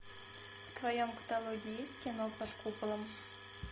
в твоем каталоге есть кино под куполом